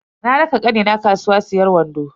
Na raka kanina kasuwa siyan wando.